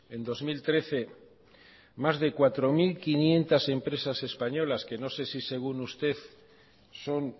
en dos mil trece más de cuatro mil quinientos empresas españolas no sé si según usted son